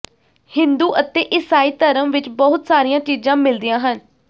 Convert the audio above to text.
ਹਿੰਦੂ ਅਤੇ ਈਸਾਈ ਧਰਮ ਵਿਚ ਬਹੁਤ ਸਾਰੀਆਂ ਚੀਜ਼ਾਂ ਮਿਲਦੀਆਂ ਹਨ